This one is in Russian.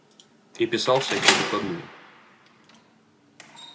и писал всякие докладные